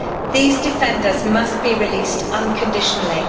These defenders must be released unconditionally.